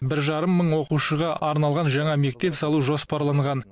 бір жарым мың оқушыға арналған жаңа мектеп салу жоспарланған